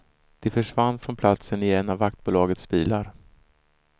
De försvann från platsen i en av vaktbolagets bilar.